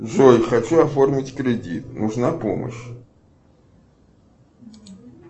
джой хочу оформить кредит нужна помощь